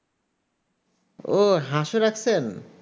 ও হাঁস ও রাখছেন